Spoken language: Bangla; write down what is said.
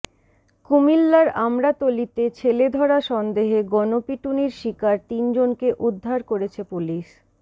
কুমিল্লার আমড়াতলীতে ছেলেধরা সন্দেহে গণপিটুনির শিকার তিনজনকে উদ্ধার করেছে পুলিশ